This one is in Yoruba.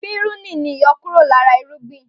Pírúnì ni àyọkúrọ̀ lára irúgbìn